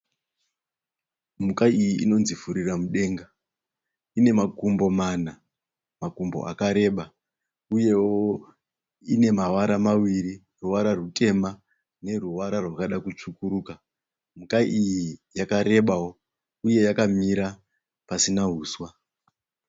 Mhuka iyi inonzi Furira Mudenga ine makumbo mana, makumbo akareba, uyewo ine mavara maviri ruvara rutema neruvara rwakada kutsvukuruka. Mhuka iyi yakarebawo uye yakamira pasina huswa.